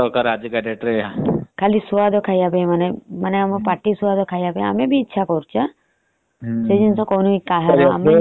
ଖାଲି ସୁଆଦ ଖାଇବା ପାଇଁ ମାନେ ଆମ ପାଟି ସୁଆଦ ଖାଇବା ପାଇଁ ଆମେ ବି ଇଚ୍ଛା କରୁଛେ। ସେ ଜିନିଷ କହୁନେ କାହାର। ଆମେ ବି use କରୁଛେ।